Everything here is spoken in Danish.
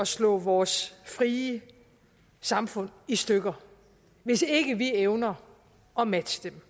slå vores frie samfund i stykker hvis ikke vi evner at matche dem